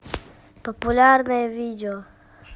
популярное видео